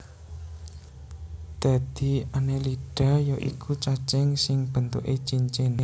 Dadi Annelida ya iku cacing sing bentuké cincin